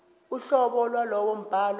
uhlobo lwalowo mbhalo